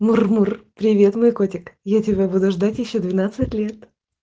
мур-мур привет мой котик я тебя буду ждать ещё двенадцать лет